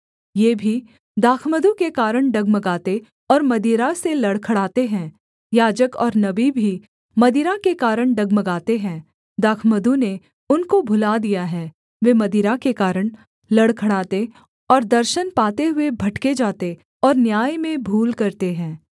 ये भी दाखमधु के कारण डगमगाते और मदिरा से लड़खड़ाते हैं याजक और नबी भी मदिरा के कारण डगमगाते हैं दाखमधु ने उनको भुला दिया है वे मदिरा के कारण लड़खड़ाते और दर्शन पाते हुए भटके जाते और न्याय में भूल करते हैं